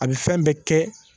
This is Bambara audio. A bɛ fɛn bɛɛ kɛ